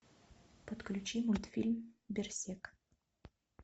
подключи мультфильм берсерк